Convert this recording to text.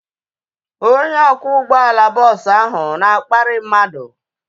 Onye ọkwọ ụgbọala bọọsu ahu na-akparị mmadụ